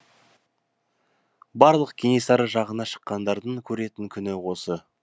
барлық кенесары жағына шыққандардың көретін күні осы